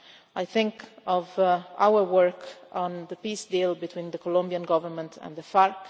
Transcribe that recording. I think of our work on the peace deal between the Colombian government and the FARC.